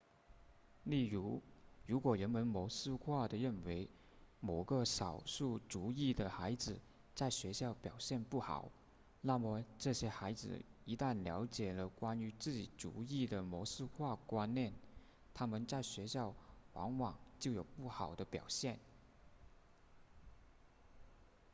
例如如果人们模式化地认为某个少数族裔的孩子在学校表现不好那么这些孩子一旦了解了关于自己族裔的模式化观念他们在学校往往就有不好的表现